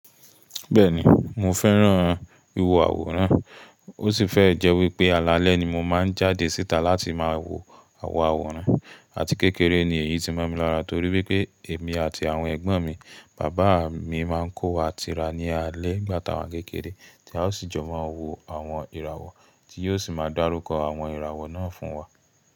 Bẹ́ẹ̀ni mo fẹ́ràn ìwọ àwòrán ó sì fẹ́e jẹ́ wípé alalẹ́ ni mo máa ń jáde síta láti máa wo àwọn àwòrán àti kékeré ni èyí ti má mi lára torí wípé èmi àti àwọn ẹ̀gbọ́n mi, bàbá mi máa ń kó wa tira ní alẹ́ ngbà táa wá n kékeré tí a o sì jọ máa wo àwọn ìràwọ̀ tí yóò sì máa dárúkọ àwọn ìràwọ̀ náà fún wa.